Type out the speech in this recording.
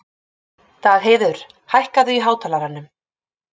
Dagheiður, hækkaðu í hátalaranum.